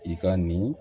I ka nin